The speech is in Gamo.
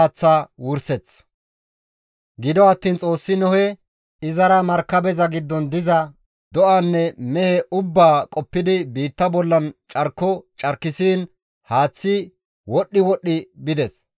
Gido attiin Xoossi Nohe, izara markabeza giddon diza do7anne mehe ubbaa qoppidi biitta bollan carko carkissiin haaththay wodhdhi wodhdhi bides.